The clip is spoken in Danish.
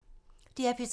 DR P3